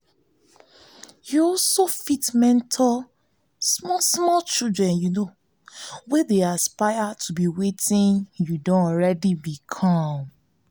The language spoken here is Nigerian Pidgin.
you fit mentor small small children wey dey aspire to be wetin you don already become